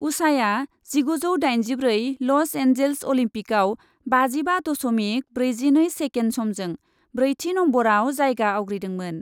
उषाया जिगुजौ दाइनजिब्रै Los Angeles अलिम्पिकआव बाजिबा दस'मिक ब्रैजिनै सेकेन्ड समजों ब्रैथि नम्बरआव जायगा आवग्रिदोंमोन।